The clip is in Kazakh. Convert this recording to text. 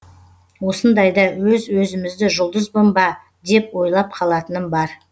осындайда өз өзімізді жұлдызбын ба деп ойлап қалатыным бар